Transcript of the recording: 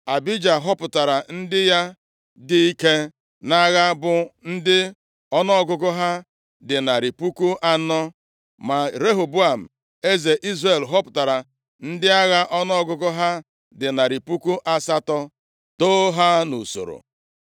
Abija họpụtara ndị ya dị ike nʼagha bụ ndị ọnụọgụgụ ha dị narị puku anọ, ma Jeroboam eze Izrel họpụtara ndị agha ọnụọgụgụ ha dị narị puku asatọ doo ha nʼusoro.